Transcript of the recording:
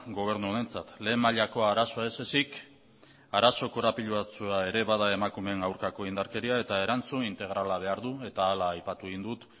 gobernu honentzat lehen mailako arazoa ez ezik arazo korapilatsua ere bada emakumeen aurkako indarkeria eta erantzun integrala behar du eta hala aipatu egin dut